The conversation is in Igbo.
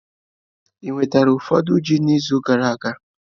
Ewetara ụfọdụ ji izu gara aga?